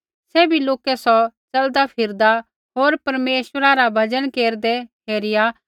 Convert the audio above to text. सैभी लोकै सौ च़लदा फिरदा होर परमेश्वरा रा भजन केरदै हेरिया